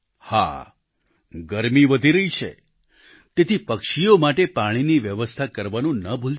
હા ગરમી વધી રહી છે તેથી પક્ષીઓ માટે પાણીની વ્યવસ્થા કરવાનું ન ભૂલતાં